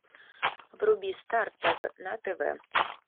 вруби старт тв на тв